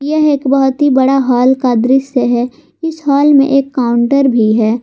यह एक बहुत ही बड़ा हल्का का दृश्य है इस हाल में एक काउंटर भी है।